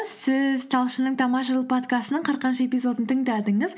сіз талшынның тамаша жыл подкастының қырқыншы эпизодын тыңдадыңыз